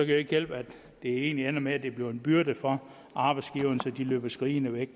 det ikke hjælpe at det hele ender med at det bliver en byrde for arbejdsgiverne så de løber skrigende væk